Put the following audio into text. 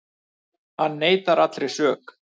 Hann neitar allri sök